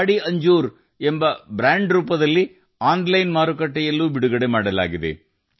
ಪಹಾರಿ ಅಂಜೂರ ಎಂದು ಬ್ರಾಂಡ್ ಮಾಡುವ ಮೂಲಕ ಆನ್ಲೈನ್ ಮಾರುಕಟ್ಟೆಯಲ್ಲೂ ಬೀಡು ಬಿಡುಗಡೆಯಾಗಿದೆ